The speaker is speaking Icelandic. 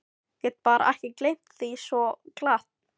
Get bara ekki gleymt því svo glatt.